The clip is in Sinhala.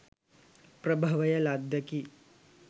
ප්‍රභවය ලද්දකි.